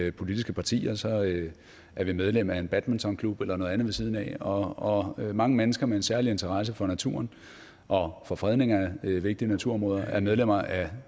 i politiske partier og så er vi medlem af en badmintonklub eller noget andet ved siden af og mange mennesker med en særlig interesse for naturen og for fredning af vigtige naturområder er medlemmer af